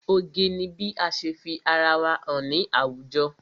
Oge ni bí ase fi ara wa hàn sí àwùjọ.